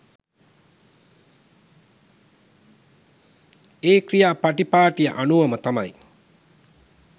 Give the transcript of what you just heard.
ඒ ක්‍රියා පටිපාටිය අනුවම තමයි.